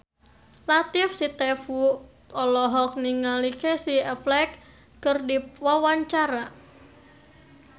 Latief Sitepu olohok ningali Casey Affleck keur diwawancara